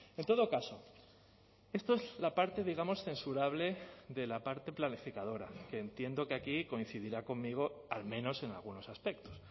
en todo caso esto es la parte digamos censurable de la parte planificadora que entiendo que aquí coincidirá conmigo al menos en algunos aspectos